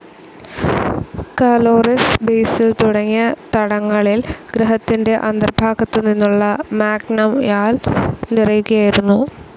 Caloris basin തുടങ്ങിയ തടങ്ങളിൽ ഗ്രഹത്തിന്റെ അന്തർഭാഗത്തുനിന്നുള്ള മാഗ്മയാൽ നിറയുകയായിരുന്നു.